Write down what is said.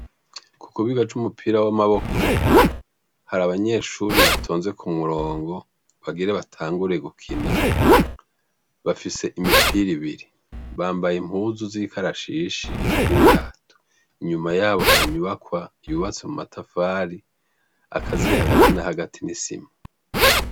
Kukibuga c' umupira w' amaboko hari abanyeshure batonze kumurongo bagire batangure gukina bafise imipira ibiri bambaye impuzu z' ikarashishi n' ibirato inyuma yabo hari inyubakwa yubatswe n' amatafari akaziye hagati na hagati n' isima.